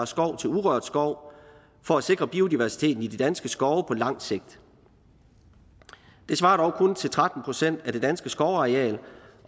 skov til urørt skov for at sikre biodiversiteten i de danske skove på lang sigt det svarer dog kun til tretten procent af det danske skovareal